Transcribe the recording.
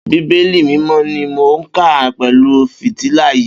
Bibélì Mimọ ni mó n kà pẹlu fítìlá yi